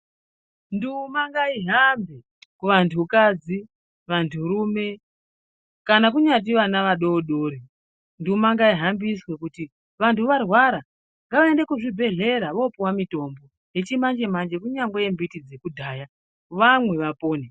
Nduma ngaihambe kuvantu kadzi, kuvantu rume kana kunyati ana adoridori nduma ngaihambiswe. Kuti kana vantu varwara ngavaende kuchibhedhleya vandorapwa vokupuwa mitombo yechimanjemanye kanyange yembiti dzekudhaya vamwe vapone.